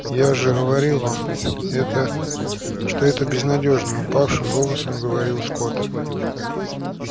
я же говорил вам это что это безнадёжно упавшим голосом проговорил скотт